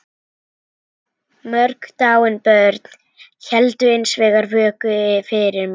Mörg dáin börn héldu hins vegar vöku fyrir mér.